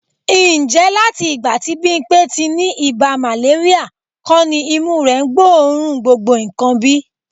Ǹjẹ́ láti ìgbà tí Bímpé ti ní ibà màléríà kọ́ ni imú rẹ gbóòórùn gbogbo nǹkan bí?